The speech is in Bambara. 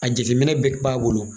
A jetiminɛ bɛɛ b'a wolo